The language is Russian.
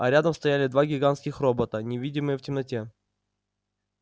а рядом стояли два гигантских робота невидимые в темноте